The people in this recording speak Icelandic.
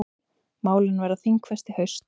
Málin verða þingfest í haust.